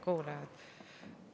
Head kuulajad!